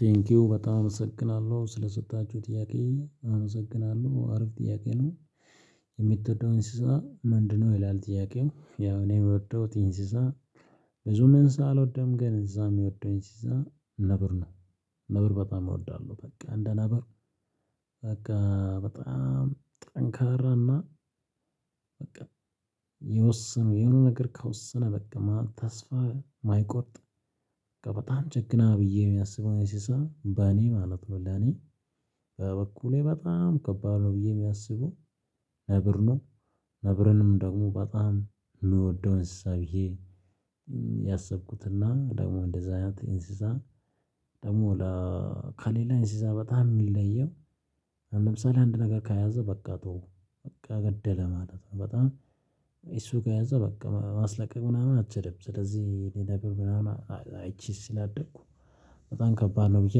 ቴንኪው በጣም አመሰግናለሁ ስለሰጣችሁ ጥያቄ አመሰግናለሁ አሪፍ ጥያቄ ነው። የምትወደው እንስሳ ምንድነው? ይላል ጥያቄው ያው እኔ የምወደውት እንስሳ። ብዙም እንስሳ አልወደም ግን እዛ የሚወደውኝ እንስሳ ነብር ነው። ነብር በጣም እወዳለሁ በቃ እንደ ነብር። በቃ በጣም ጠንካራና በቃ የወሰነ የሆነ ነገር ከወሰነ በቃ መሃል ተስፋ ማይቆርጥ። በጣም ጀግና ብዬ ሚያስብው እንስሳ በኔ ማለት ነው። ለኔ በበኩሌ በጣም ከባድ ነው ብዬ የሚያስበው ነብር ነው። ነብርንም ደግሞ በጣም የምወደው እንስሳ ብዬ ያሰብኩትና ደግሞ እንደዛ አይነት እንስሳ። ደግሞ ከሌላ እንስሳ በጣም ሚለየው። ለምሳሌ አንድ ነገር ከያዘ በቃ ተወው በቃ ገደለ ማለት ነው። በጣም እሱ ከያዘ በቃ ማስለቀቅ ምናምን አትችልም። ስለዚህ እኔ ነብር ምናምን አይችልም ስለደኩ በጣም ከባድ ነው ብዬ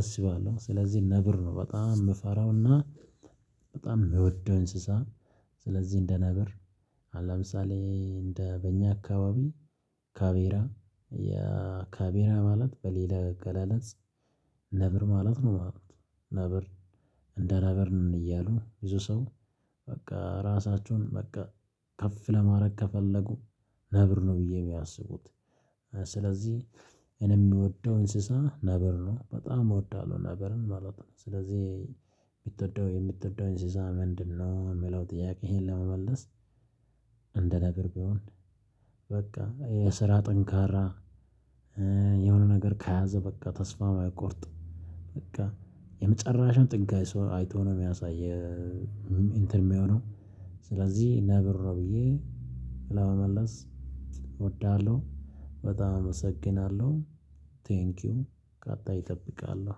አስባለሁ። ስለዚህ ነብር ነው በጣም ምፈራውና በጣም ምወደው እንስሳ። ስለዚህ እንደነብር አሁን ለምሳሌ እንደ በእኛ አካባቢ ካቤራ ያ ካቤራ ማለት በሌላ አገላለጽ። ነብር ማለት ነው። ማለት ነብር እንደ ነብር እያሉ ብዙ ሰው በቃ ራሳችሁን በቃ ከፍ ለማረግ ከፈለጉ። ነብር ነው ብዬ የሚያስቡት ስለዚህ እኔ ምወደው እንስሳ ነብር ነው በጣም እወዳለሁ ነብርን ማለት ነው። ስለዚህ የምትወደው የምትወደውን እንስሳ ምንድነው? ሚለው ጥያቄ ይሄን ለመመለስ። እንደ ነገር ቢሆን በቃ የስራ ጠንካራ የሆነ ነገር ከያዘ በቃ ተስፋ አይቆርጥም። በቃ የመጨረሻው ጥግ አይሶ አይቶ ነው ሚያሳይ የእንትን ሚሆነው። ስለዚህ ነብር ነው ብዬ ለመመለስ እወዳለሁ በጣም አመሰግናለሁ። ቴንኪው ቀጣይ እጠብቃለሁ